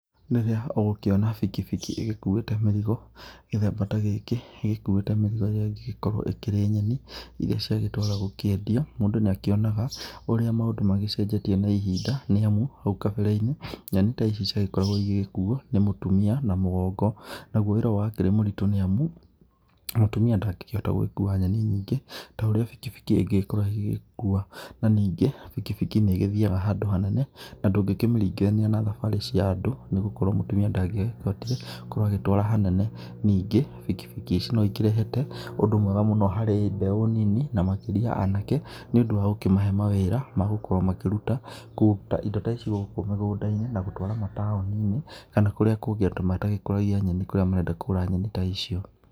Rĩrĩa ũgũkĩona bikibiki ĩgĩkũĩte mĩrigo gĩthemba ta gĩkĩ ĩgĩkũite mĩrigo ĩrĩa ĩngĩkorwo ĩkĩrĩ nyeni irĩa ciagĩtwarwo gũkĩendio, mũndũ nĩ akĩonaga ũrĩa maũndũ magĩcenjetie na ihinda, nĩ amu haũ kambere-inĩ nyeni ta ici ciagĩkoragwo igĩgĩkũo nĩ mũtumia na mũgongo, nagũo wĩra ũyũ wakĩrĩ mũritũ nĩamu, mũtumĩa ndangĩkĩhota gũkua nyeni nyingĩ ta ũrĩa bikibiki ingĩkorwo igĩkua na ningĩ bikibiki nĩ ĩgĩthiaga handũ hanene na ndũkĩmĩriganithia na thabarĩ cia andũ nĩ gũkorwo mũtumia ndangĩgĩbatie gũkorwo agĩtwara hanene, ningĩ bikibiki ici no ikĩrehete ũndũ mwega mũno harĩ mbeũ nini na makĩrĩa anake, nĩũndũ wagũkĩmahe mawĩra magũkorwo makĩruta , kũruta indo ta ici gũkũ mĩgũnda-inĩ na gũtwara mataũni-inĩ kana kũria kũngĩ andũ matagĩkũragia nyeni kũria marenda kũgũra nyeni ta icio.